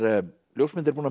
ljósmyndari búinn að